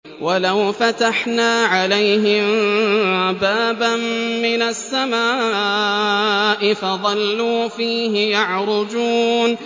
وَلَوْ فَتَحْنَا عَلَيْهِم بَابًا مِّنَ السَّمَاءِ فَظَلُّوا فِيهِ يَعْرُجُونَ